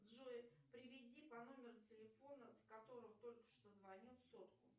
джой переведи по номеру телефона с которого только что звонил сотку